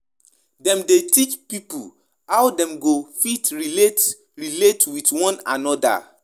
E de make some um pipo respect dem and see dem as gods